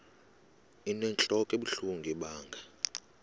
inentlok ebuhlungu ibanga